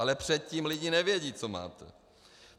Ale předtím lidi nevědí, co máte.